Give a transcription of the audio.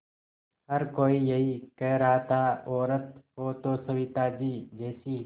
हर कोई यही कह रहा था औरत हो तो सविताजी जैसी